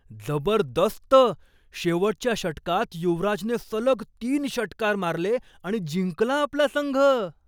जबरदस्त! शेवटच्या षटकात युवराजने सलग तीन षटकार मारले आणि जिंकला आपला संघ.